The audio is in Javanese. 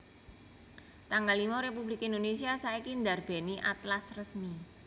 tanggal limo Republik Indonesia saiki ndarbèni Atlas Resmi